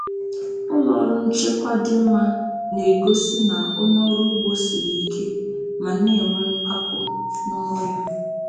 Ụlọ nchekwa dị mma na-egosi na onye ọrụ ugbo siri ike ma na-enwe mpako n’ọrụ ya.